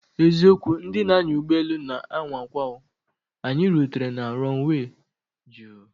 Eziokwu! Ndị na anya ụgbọ elu na anwakwa o, anyị rutere na runway juu